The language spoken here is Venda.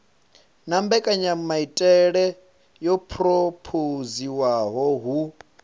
na mbekanyamaitele yo phurophoziwaho hu